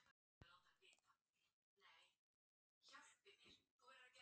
Gert hana jákvæða.